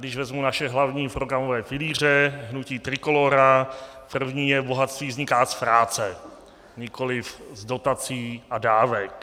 Když vezmu naše hlavní programové pilíře hnutí Trikolóra, první je: Bohatství vzniká z práce, nikoliv z dotací a dávek.